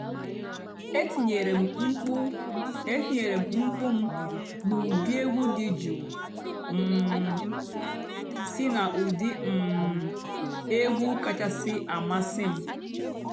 ètìnyéré m m̀kpú ètìnyéré m m̀kpú m nà ègwú dị́ jụ́ụ́ um sí nà ụ́dị́ um ègwú kàchàsị́ àmásị́ m.